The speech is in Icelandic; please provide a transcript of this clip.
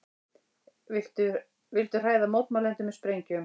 Vildu hræða mótmælendur með sprengjum